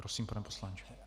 Prosím, pane poslanče.